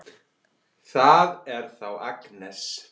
Það er þá Agnes!